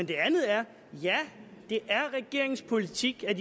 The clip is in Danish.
det andet er ja det er regeringens politik at